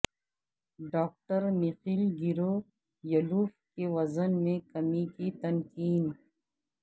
doctor Mikhail Gavrilov کے وزن میں کمی کی تکنیک